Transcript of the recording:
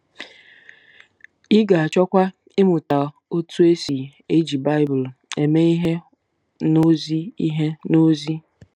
Ị ga-achọkwa ịmụta otú e si eji Baịbụl eme ihe n’ozi ihe n’ozi.